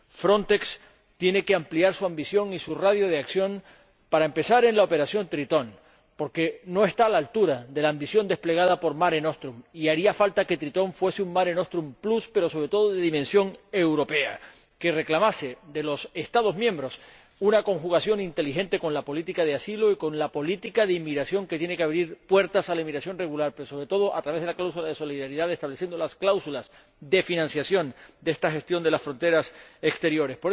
Frontex tiene que ampliar su ambición y su radio de acción, para empezar, en la Operación Tritón, porque no está a la altura de la ambición desplegada por Mare Nostrum, y haría falta que Tritón fuese un Mare Nostrum plus pero, sobre todo, de dimensión europea, que reclamase de los Estados miembros una conjugación inteligente con la política de asilo y con la política de inmigración, que tiene que abrir puertas a la inmigración regular, sobre todo a través de la cláusula de solidaridad, estableciendo las cláusulas de financiación de esta gestión de las fronteras exteriores.